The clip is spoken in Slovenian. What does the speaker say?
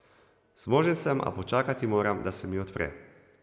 Zmožen sem, a počakati moram, da se mi odpre.